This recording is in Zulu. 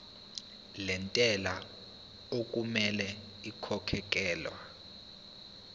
lentela okumele ikhokhekhelwe